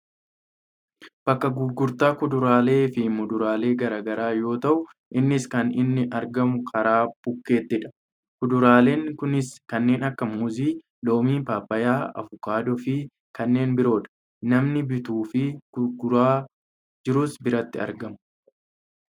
Bakka gurgurtaa kuduraalee fi muduraalee gara garaa yoo ta'u, innis kan inni argamu karaa bukkeettidha. Kuduraaleen kunniinis kanneen akka muuzii, loomii, paappayyaa , avukaadoofi kanneen biroodha. Namni bituufi gurgaraa jirus biratti argamu.